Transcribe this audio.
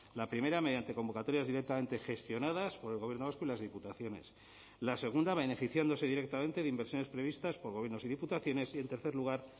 la primera mediante convocatorias directamente gestionadas por el gobierno vasco y las diputaciones la segunda beneficiándose directamente de inversiones previstas por gobiernos y diputaciones y en tercer lugar